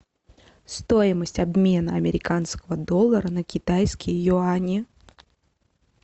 стоимость обмена американского доллара на китайские юани